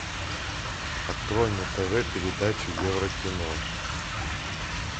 открой на тв передачу евро кино